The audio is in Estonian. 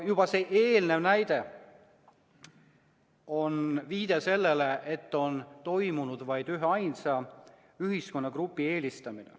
Juba see eelnev näide on viide sellele, et on toimunud vaid üheainsa ühiskonnagrupi eelistamine.